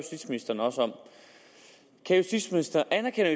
om justitsministeren anerkender